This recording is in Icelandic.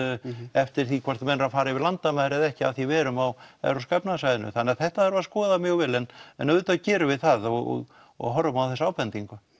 eftir því hvort menn eru að fara yfir landamæri eða ekki af því við erum á evrópska efnahagssvæðinu þannig þetta þarf að skoða mjög vel en en auðvitað gerum við það og og horfum á þessa ábendingu